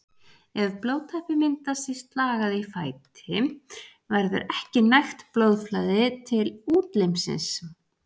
Ef blóðtappi myndast í slagæð í fæti verður ekki nægt blóðflæði til útlimsins.